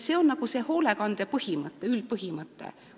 See on see hoolekande üldpõhimõte.